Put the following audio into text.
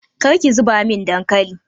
Kar ki zuba min dankalin!